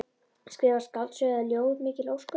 Skrifa skáldsögu eða ljóð, mikil ósköp.